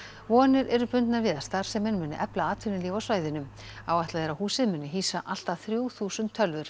vonir eru bundnar við að starfsemin muni efla atvinnulíf á svæðinu áætlað er að húsið muni hýsa allt að þrjú þúsund tölvur